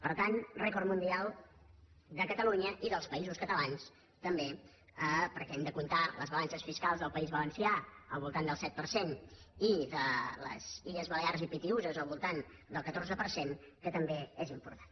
per tant rècord mundial de catalunya i dels països catalans també perquè hem de comptar les balances fiscals del país valencià al voltant del set per cent i de les illes balears i pitiüses al voltant del catorze per cent que també és important